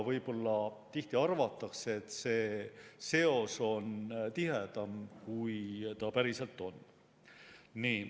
Tihti arvatakse, et see seos on tihedam, kui ta päriselt on.